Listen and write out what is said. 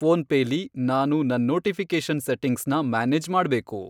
PhonePe ಲಿ ನಾನು ನನ್ ನೋಟಿಫಿ಼ಕೇಷನ್ ಸೆಟ್ಟಿಂಗ್ಸ್ನ ಮ್ಯಾನೇಜ್ ಮಾಡ್ಬೇಕು.